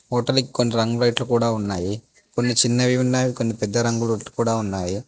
Hotel కి కొన్ని రంగు లైట్లు కూడా ఉన్నాయి కొన్ని చిన్న కొన్ని పెద్ద రంగు లైట్లు కూడా ఉన్నాయి.